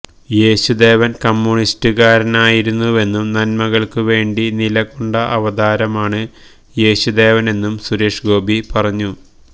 യേശുദേവൻ കമ്യൂണിസ്റ്റുകാരനായിരുന്നുവെന്നും നന്മകൾക്കു വേണ്ടി നില കൊണ്ട അവതാരമാണ് യേശുദേവനെന്നും സുരേഷ് ഗോപി പറഞ്ഞു